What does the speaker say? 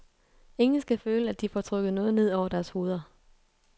Ingen skal føle, at de får trukket noget ned over deres hoveder.